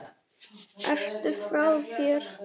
Ertu frá þér?